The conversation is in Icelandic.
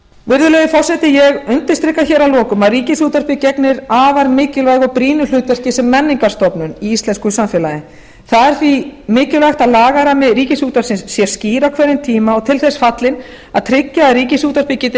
virðulegi forseti ég undirstrika hér að lokum að ríkisútvarpið gegnir afar mikilvægu og brýnu hlutverki sem menningarstofnun í íslensku samfélagi það er því mikilvægt að lagarammi ríkisútvarpsins sé skýr á hverjum tíma og til þess fallinn að tryggja að ríkisútvarpið geti